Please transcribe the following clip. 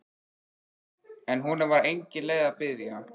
En honum var engin leið að biðja.